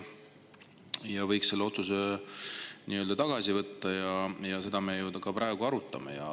Võiks selle otsuse tagasi võtta, seda me ju ka praegu arutame.